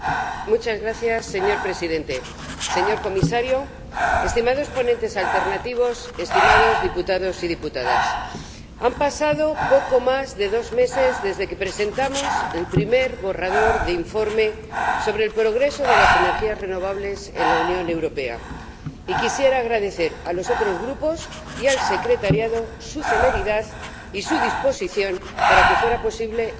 Señor Presidente, señor Comisario, estimados ponentes alternativos, estimados diputados y diputadas, han pasado poco más de dos meses desde que presentamos el primer borrador de informe de situación en materia de energías renovables en la Unión Europea, y quisiera agradecer a los otros Grupos y a la Secretaría su celeridad y su disposición para que fuera posible el voto de hoy.